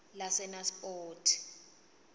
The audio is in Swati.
lasenaspoti